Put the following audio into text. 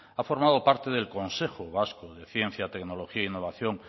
ha formado parte del consejo vasco de ciencia tecnología e innovación